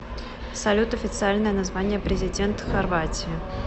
салют официальное название президент хорватии